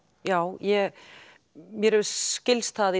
já mér skilst það